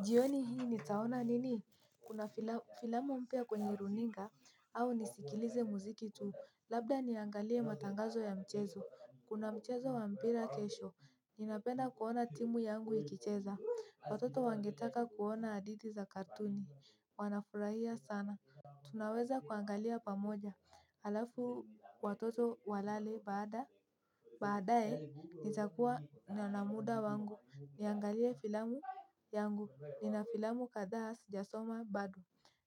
Jioni hii nitaona nini, kuna filamu mpya kwenye runinga au nisikilize muziki tu, labda niangalie matangazo ya mchezo, kuna mchezo wa mpira kesho, ninapenda kuona timu yangu ikicheza, watoto wangetaka kuona hadithi za katuni, wanafurahia sana. Tunaweza kuangalia pamoja halafu watoto walale baadaye nitakuwa nina muda wangu niangalie filamu yangu nina filamu kadhaa sijasoma bado.